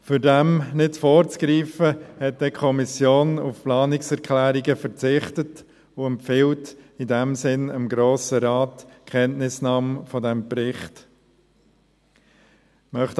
Um dem nicht vorzugreifen, hat die Kommission auf Planungserklärungen verzichtet und empfiehlt dem Grossen Rat in diesem Sinn Kenntnisnahme des Berichts.